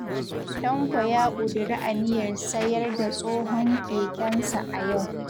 Tanko ya ƙudiri aniyar sayar da tsohon kekensa a yau